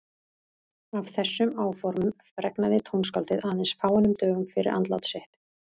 Af þessum áformum fregnaði tónskáldið aðeins fáeinum dögum fyrir andlát sitt.